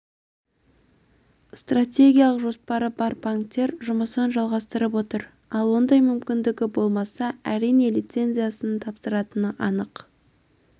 стратегиялық жоспары бар банктер жұмысын жалғастырып отыр ал ондай мүмкіндігі болмаса әрине лицензиясын тапсыратыны анық